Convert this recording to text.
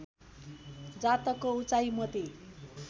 जातकको उचाइ मोती